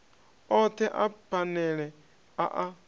othe a phanele a a